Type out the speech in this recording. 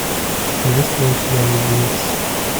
есть ли у тебя люди икс